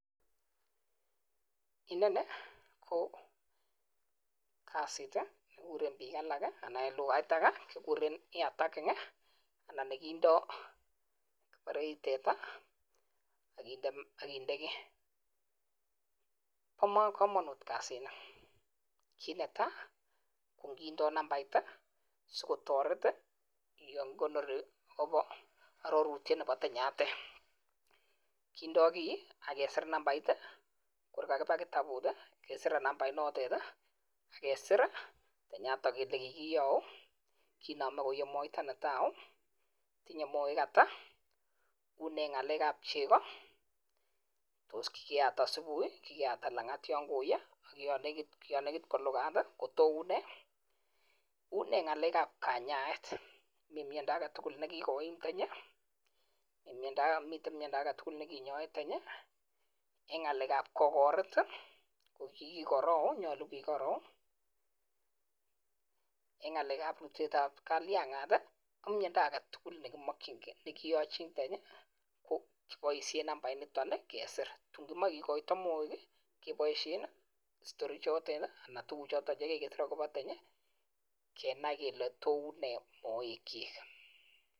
Inoni KO kasit nekindoi key it ap teta bare Eng lugait age (ear tagging ) kindai simapet teta ako magat Kenai Kole uneee tanyiiii Eng kamangunet ap chegooi